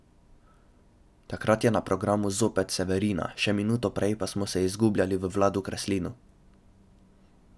Takrat je na programu zopet Severina, še minuto prej pa smo se izgubljali v Vladu Kreslinu.